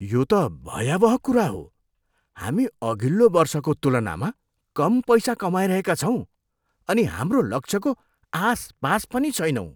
यो त भयावह कुरा हो! हामी अघिल्लो वर्षको तुलनामा कम पैसा कमाइरहेका छौँ अनि हाम्रो लक्ष्यको आसपास पनि छैनौँ।